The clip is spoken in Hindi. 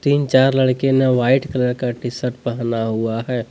तीन चार लड़के ने व्हाइट कलर का टी शर्ट पहना हुआ है।